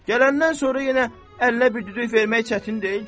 Gələndən sonra yenə əllə bir düdük vermək çətin deyil ki.